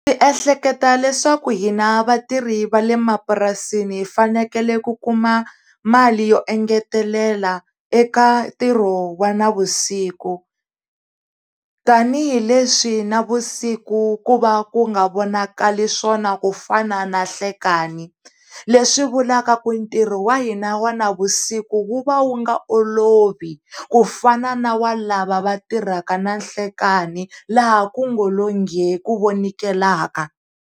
Ndzi ehleketa leswaku hina vatirhi va le mapurasini hifanekele ku kuma mali yo engetelela eka ntirho wa na vusiku tanihileswi na vusiku ku va ku nga vonakali swona kufana na nhlekani leswi vulavula ku ntirho wa hina wa na vusiku wu va wu nga olovi kufana na wa lava va tirhaka na nhlekani laha kungalo ghee, ku vonekelaka.